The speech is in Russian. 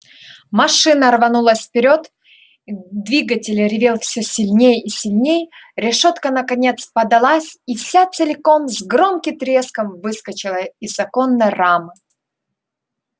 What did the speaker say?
машина рванулась вперёд двигатель ревел всё сильней и сильней решётка наконец поддалась и вся целиком с громким треском выскочила из оконной рамы